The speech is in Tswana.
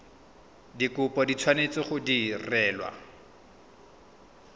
dikopo di tshwanetse go direlwa